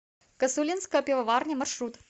косулинская пивоварня маршрут